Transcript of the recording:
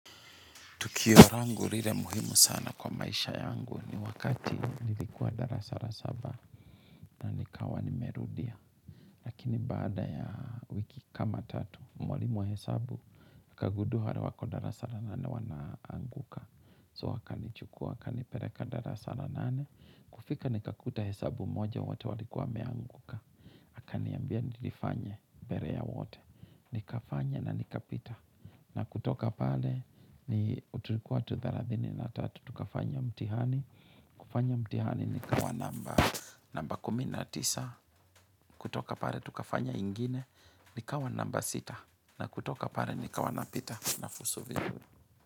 Tukio langu lile muhimu sana kwa maisha yangu ni wakati nilikuwa darasa la saba na nikawa nimerudia. Lakini baada ya wiki kama tatu mwalimu wa hesabu akagundua wale wako darasa la nane wanaanguka. So wakanichukua wakanipeleka darasa la nane kufika nikakuta hesabu moja wote walikuwa wameanguka. Akaniambia nilifanye mbele ya wote nikafanya na nikapita na kutoka pale ni tulikuwa watu thelathini na tatu. Tukafanya mtihani kufanya mtihani nikawa namba namba kumi na tisa kutoka pale tukafanya ingine nikawa namba sita na kutoka pale nikawa napita. Nafuzu vizuri.